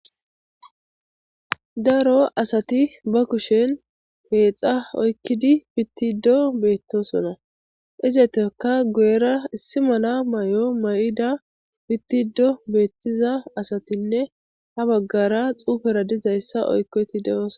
daro asati ba kushen peexa oykkidi pittido beettosona izatekka guyera issi mala may7o may7ida pittiddo beettiza asatinne ha baggara xuufera dizayssa oykkoti de'osona